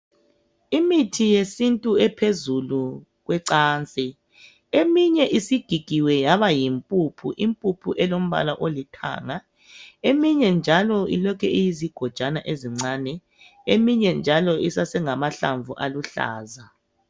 Imithi yesintu ephezulu kwecansi. Eminye isigigiwe yaba yimpuphu. Impuphu elombala olithanga. Eminye njalo ilokhu iyizigojwana ezincane, Eminye njalo, isase ngamahlamvu aluhlaza.